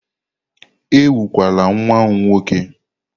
Ekwukwala nwa m nwoke!